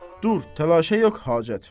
Dur, təlaşa yox hacət.